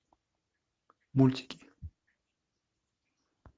мультики